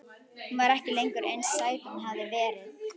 Hún var ekki lengur eins sæt og hún hafði verið.